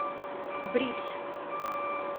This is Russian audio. бридж